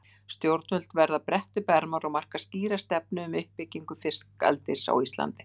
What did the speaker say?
Stjórnvöld verða að bretta upp ermar og marka skýra stefnu um uppbyggingu fiskeldis á Íslandi.